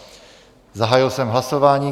Zahájil jsem hlasování.